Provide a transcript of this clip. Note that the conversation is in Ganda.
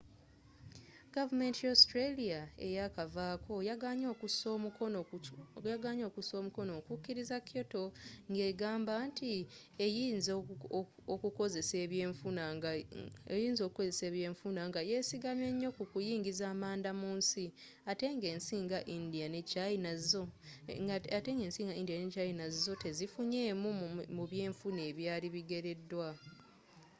gavumenti ya australia eyakavaako yagaanye okussa omukono okukiriza kyoto nga egamba nti eyinza okukosa ebyenfuna nga ye sigamye nnyo ku kuyingiza amanda mu nsi nga ate ensi nga india ne china zo tezaafunamu mu byenfuna ebyali bigereddwa